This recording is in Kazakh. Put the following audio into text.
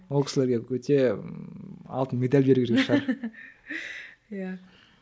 ол кісілерге өте алтын медаль беру керек шығар иә